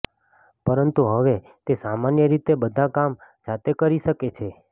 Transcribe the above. પરંતુ હવે તે સામાન્ય રીતે બધા કામ જાતે કરી શકે છે